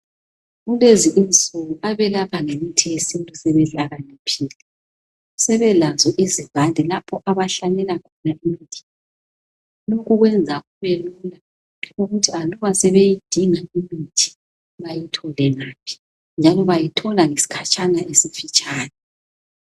Kulezi insuku abelapha ngemithi yesintu sebehlakaniphile sebelazo izivande lapha abahlanyela khona imithi ukwenza kube ukuthi aluba sebeyidinga imithi bayithole ngaphi njalo bayithole ngesikhatshana esifitshane.